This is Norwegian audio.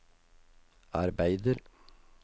arbeider